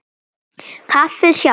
Kaffið sjálft.